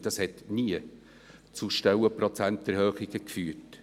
Das hat nie zu Erhöhungen von Stellenprozenten geführt.